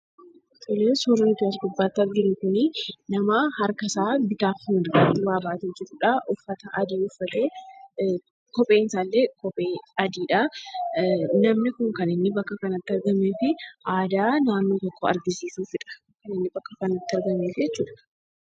Suurri nuti as gubbaatti arginu kun nama harkasaa bitaafi mirgaan waa baatee jirudha. Uffata adii uffatee, kopheen isaallee adiidha. Namni kun kan bakka kanatti argameefi aadaa naannoo tokkoo agarsiisuudhaafidha kan inni bakka kanatti argameefi jechuudha.